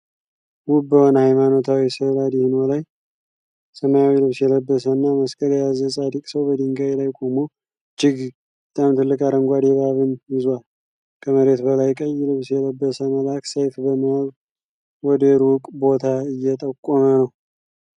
ውብ በሆነ ሃይማኖታዊ ሥዕል አድኖ ላይ፣ ሰማያዊ ልብስ የለበሰና መስቀል የያዘ ጻድቅ ሰው በድንጋይ ላይ ቆሞ እጅግ በጣም ትልቅ አረንጓዴ እባብን ይዞአል። ከመሬት በላይ ቀይ ልብስ የለበሰ መልአክ ሰይፍ በመያዝ ወደ ሩቅ ቦታ እየጠቆመ ነው።